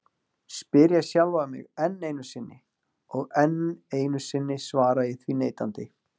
spyr ég sjálfan mig enn einu sinni, og enn einu sinni svara ég því neitandi.